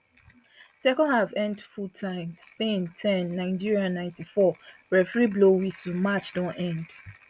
second half end full time spain ten nigeria ninety four referee blow whistle match don end